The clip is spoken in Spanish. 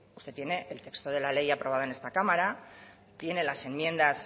usted tiene el texto de la ley aprobado en esta cámara tiene las enmiendas